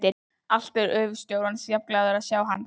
Alltaf eru gröfustjórarnir jafnglaðir að sjá hann.